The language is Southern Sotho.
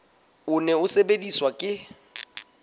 o ne o sebediswa ke